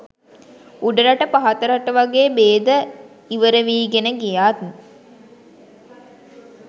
උඩරට පහතරට වගේ බේද ඉවරවීගෙන ගියත්